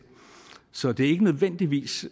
så det er ikke nødvendigvis